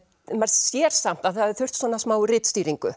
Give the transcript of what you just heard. maður sér samt að það hefði þurft smá